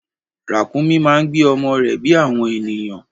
Ràkúnmí máa ń gbé ọmọ rẹ bí àwọn ènìyàn.